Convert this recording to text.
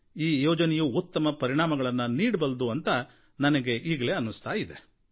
ಈ ಯೋಜನೆಯೂ ಉತ್ತಮ ಪರಿಣಾಮಗಳನ್ನು ನೀಡಬಲ್ಲುದು ಅಂತ ನನಗೆ ಈಗಲೇ ಅನ್ನಿಸ್ತಾ ಇದೆ